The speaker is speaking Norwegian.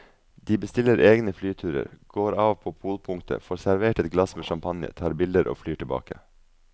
De bestiller egne flyturer, går av på polpunktet, får servert et glass med champagne, tar bilder og flyr tilbake.